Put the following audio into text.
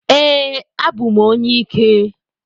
Ee, abụ m onye ike.